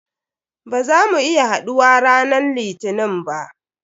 Ba za mu iya haɗuwa ranan litinin ba.